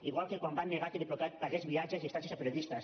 igual que quan van negar que diplocat pagués viatges i estades a periodistes